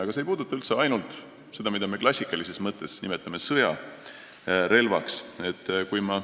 Ja see ei puuduta ainult seda, mida me klassikalises mõttes sõjarelvaks nimetame.